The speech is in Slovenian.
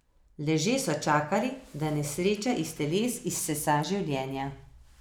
Leže so čakali, da nesreča iz teles izsesa življenja.